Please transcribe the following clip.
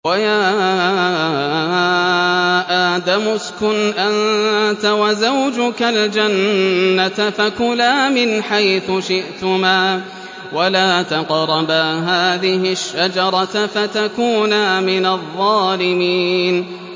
وَيَا آدَمُ اسْكُنْ أَنتَ وَزَوْجُكَ الْجَنَّةَ فَكُلَا مِنْ حَيْثُ شِئْتُمَا وَلَا تَقْرَبَا هَٰذِهِ الشَّجَرَةَ فَتَكُونَا مِنَ الظَّالِمِينَ